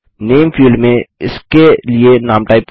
नामे field में इसके लिए नाम टाइप करें